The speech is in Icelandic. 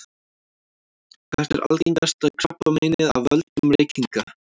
hvert er algengasta krabbameinið af völdum reykinga